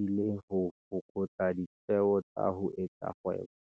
e le ho fokotsa ditjeo tsa ho etsa kgwebo.